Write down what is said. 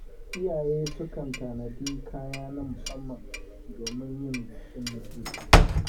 Iyaye sukan tanadi kaya na musamman don yin bikin hutu.